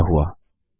देखते हैं क्या हुआ